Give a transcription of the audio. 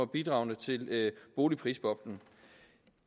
bidrog til boligprisboblen